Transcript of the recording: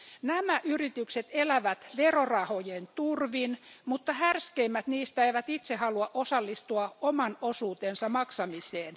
Nämä yritykset elävät verorahojen turvin, mutta härskeimmät niistä eivät itse halua osallistua oman osuutensa maksamiseen.